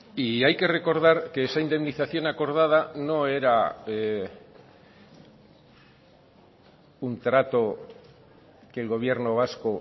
y hay que recordar que esa indemnización acordada no era un trato que el gobierno vasco